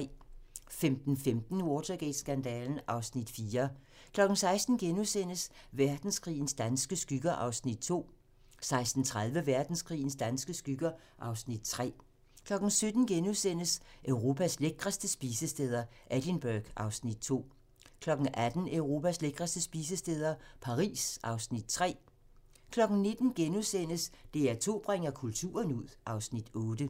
15:15: Watergate-skandalen (Afs. 4) 16:00: Verdenskrigens danske skygger (Afs. 2)* 16:30: Verdenskrigens danske skygger (Afs. 3) 17:00: Europas lækreste spisesteder - Edinburgh (Afs. 2)* 18:00: Europas lækreste spisesteder - Paris (Afs. 3) 19:00: DR2 bringer kulturen ud (Afs. 8)*